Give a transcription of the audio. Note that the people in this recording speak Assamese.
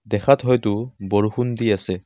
দেখাত হয়টো বৰষুণ দি আছে।